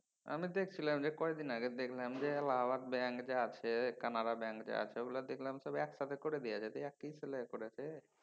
আমি দেখছিলাম যে কয়দিন আগে দেখলাম যে এলাহাবাদ ব্যাং যে আছে কানারা bank যে আছে ওইগুলা দেখলাম সব একসাথে করে দিয়েছে। দিয়া কি ছিলা করেছে